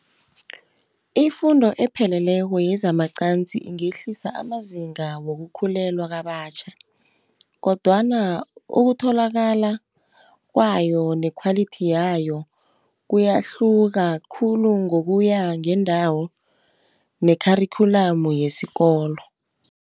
Ifundo epheleleko yezamacansi ingehlisa amazinga wokukhulelwa kabatjha, kodwana ukutholakala kwayo, nekhwalithi yayo, kuyahluka khulu ngokuya ngendawo ne-curriculum yesikolo.